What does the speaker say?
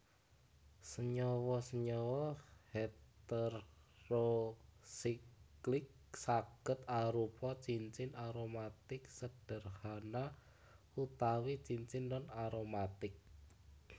Senyawa senyawa heterosiklik sagéd arupa cincin aromatik sederhana utawi cincin non aromatik